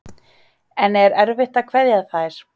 En er erfitt að kveðja þær?